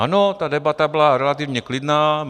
Ano, ta debata byla relativně klidná.